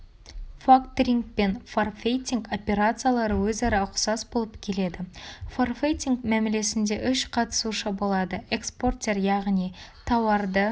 факторинг пен форфейтинг операциялары өзара ұқсас болып келеді форфейтинг мәмілесінде үш қатысушы болады экспортер яғни тауарды